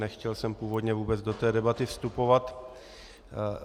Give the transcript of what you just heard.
Nechtěl jsem původně vůbec do té debaty vstupovat.